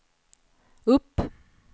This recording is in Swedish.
upp